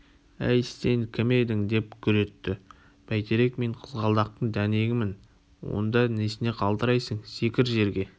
әй сен кім едің деп гүр етті бәйтерек мен қызғалдақтың дәнегімін онда несіне қалтырайсың секір жерге